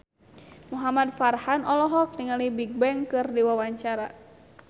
Muhamad Farhan olohok ningali Bigbang keur diwawancara